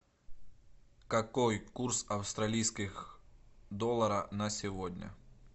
какой курс австралийских доллара на сегодня